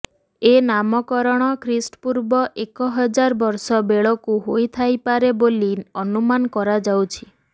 ଏ ନାମକରଣ ଖ୍ରୀଷ୍ଟପୂର୍ବ ଏକହଜାର ବର୍ଷ ବେଳକୁ ହୋଇଥାଇପାରେ ବୋଲି ଅନୁମାନ କରାଯାଉଅଛି